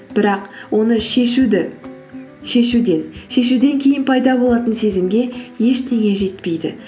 бірақ оны шешуден кейін пайда болатын сезімге ештеңе жетпейді